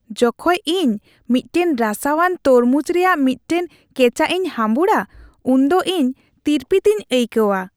ᱡᱚᱠᱷᱚᱡ ᱤᱧ ᱢᱤᱫᱴᱟᱝ ᱨᱟᱥᱟᱣᱟᱱ ᱛᱚᱨᱢᱩᱡᱽ ᱨᱮᱭᱟᱜ ᱢᱤᱫᱴᱟᱝ ᱠᱮᱪᱟᱜ ᱤᱧ ᱦᱟᱺᱵᱩᱲᱟ ᱩᱱᱫᱚ ᱤᱧ ᱛᱤᱨᱯᱤᱛᱤᱧ ᱟᱹᱭᱠᱟᱹᱣᱟ ᱾